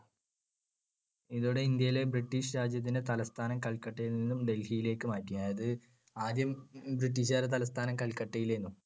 ഇതോടെ ഇന്ത്യയിൽ ബ്രിട്ടീഷ് രാജ്യത്തിൻറെ തലസ്ഥാനം കൽക്കട്ടയിൽ നിന്നും ഡൽഹിയിലേക്ക് മാറ്റി. അതായത് ആദ്യം ബ്രിട്ടീഷുക്കാരുടെ തലസ്‌ഥാനം കൽക്കട്ടയായിരുന്നു.